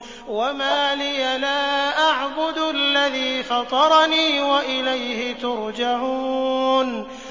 وَمَا لِيَ لَا أَعْبُدُ الَّذِي فَطَرَنِي وَإِلَيْهِ تُرْجَعُونَ